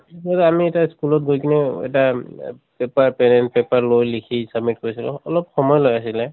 আমি এটা school ত গৈ কিনে এ এটা এম paper pen paper লৈ লিখি submit কৰিছিলোঁ। অলপ সময় লগাইছিলে